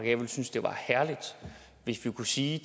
jeg ville synes det var herligt hvis vi kunne sige